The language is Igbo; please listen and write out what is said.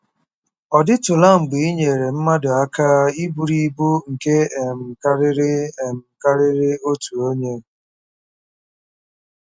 Ọ dịtụla mgbe ị nyeere mmadụ aka iburu ibu nke um karịrị um karịrị otu onye?